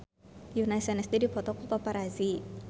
Yoona SNSD dipoto ku paparazi